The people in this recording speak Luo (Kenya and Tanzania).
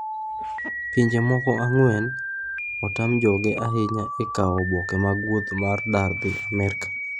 Pinje moko ang'wen , otam joge ahinya e kwayo oboke mag wuoth mag dar dhi amerka.